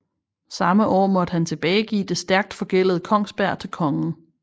Samme år måtte han tilbagegive det stærkt forgældede Kongsberg til Kongen